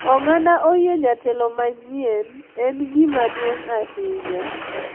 Oganda oyie jatelo manyien en gima duong’ ahinya,